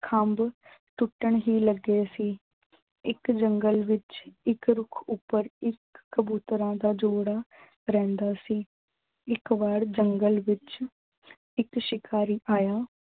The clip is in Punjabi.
ਖੰਬ ਟੁੱਟਣ ਹੀ ਲੱਗੇ ਸੀ। ਇੱਕ ਜੰਗਲ ਵਿੱਚ ਇੱਕ ਰੁੱਖ ਉੱਪਰ ਇੱਕ ਕਬੂਤਰਾਂ ਦਾ ਜੋੜਾ ਰਹਿੰਦਾ ਸੀ। ਇੱਕ ਵਾਰ ਜੰਗਲ ਵਿੱਚ ਇੱਕ ਸ਼ਿਕਾਰੀ ਆਇਆ